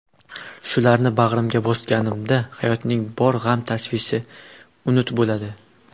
Shularni bag‘rimga bosganimda hayotning bor g‘am-tashvishi unut bo‘ladi.